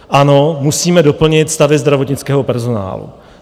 Ano, musíme doplnit stavy zdravotnického personálu.